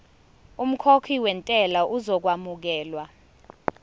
umkhokhi wentela uzokwamukelwa